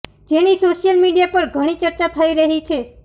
જેની social media પર ઘણી ચર્ચા થઈ રહી છે